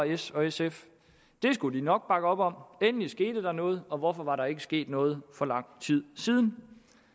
s og sf det skulle de nok bakke op om endelig skete der noget og hvorfor var der ikke sket noget for lang tid siden